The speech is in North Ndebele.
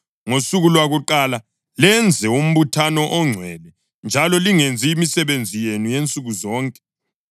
Ngosuku lwakuqala lenze umbuthano ongcwele njalo lingenzi imisebenzi yenu yansuku zonke.